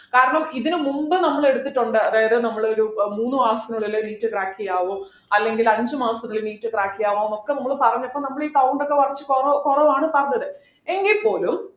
കാരണം ഇതിനുമുമ്പ് നമ്മൾ എടുത്തിട്ടുണ്ട് അതായത് നമ്മള് ഒരു മൂന്നു മാസത്തിനുള്ളിൽ NEET crack ചെയ്യാമോ അല്ലെങ്കിൽ അഞ്ചുമാസത്തിനുള്ളിൽ NEET crack ചെയ്യാമോ ഒക്കെ നമ്മൾ പറഞ്ഞപ്പോൾ നമ്മളെ ഈ count ഒക്കെ കുറച്ച് കൊറ കുറവാണ് പറഞ്ഞത് എങ്കിൽ പോലും